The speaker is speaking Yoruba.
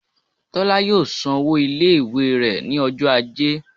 Tola yọọ sán ọwọ ile-iwe rẹ ni ọjọ ajé